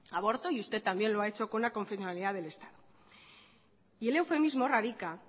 aborto y usted también lo ha dicho con la aconfesionalidad del estado y el eufemismo radica